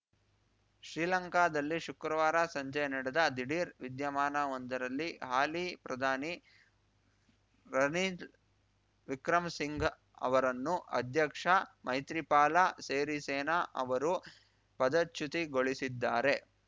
ಶ್ರೀಲಂಕಾದಲ್ಲಿ ಶುಕ್ರವಾರ ಸಂಜೆ ನಡೆದ ದಿಢೀರ್‌ ವಿದ್ಯಮಾನವೊಂದರಲ್ಲಿ ಹಾಲಿ ಪ್ರಧಾನಿ ರನಿದ್ ವಿಕ್ರಮಸಿಂಘ ಅವರನ್ನು ಅಧ್ಯಕ್ಷ ಮೈತ್ರಿಪಾಲ ಸೇರಿಸೇನ ಅವರು ಪದಚ್ಯುತಗೊಳಿಸಿದ್ದಾರೆ